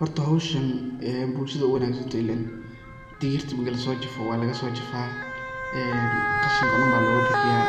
Horta howshan bulshadey u wanagsan tahay ilen ,digirta mari laso jafo waa lagasojafaa qashinka oo dhan baa loga bixiyaa